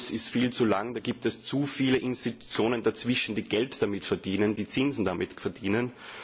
Der Geldfluss ist viel zu lang, es gibt zu viele Institutionen dazwischen, die Geld damit verdienen, die Zinsen damit verdienen.